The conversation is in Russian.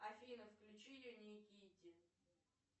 афина включи юникити